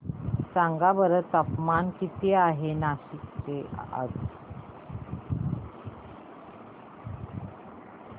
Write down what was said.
सांगा बरं तापमान किती आहे आज नाशिक चे